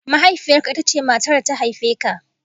Mahaifiyarka, ita ce matar da ta haife ka